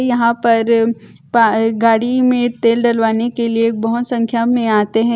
यहाँ पर गाड़ी में तेल डलवाने के लिए बहुत संख्या में आते हैं।